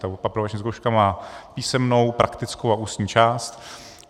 Ta aprobační zkouška má písemnou, praktickou a ústní část.